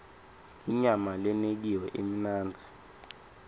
inyama lenekiwe imnandzi